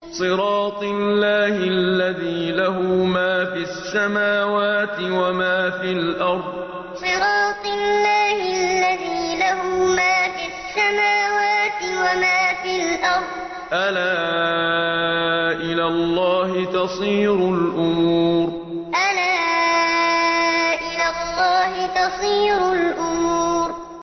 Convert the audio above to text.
صِرَاطِ اللَّهِ الَّذِي لَهُ مَا فِي السَّمَاوَاتِ وَمَا فِي الْأَرْضِ ۗ أَلَا إِلَى اللَّهِ تَصِيرُ الْأُمُورُ صِرَاطِ اللَّهِ الَّذِي لَهُ مَا فِي السَّمَاوَاتِ وَمَا فِي الْأَرْضِ ۗ أَلَا إِلَى اللَّهِ تَصِيرُ الْأُمُورُ